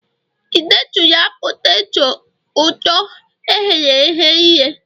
ị detụla poteto ụtọ e ghere eghe ire?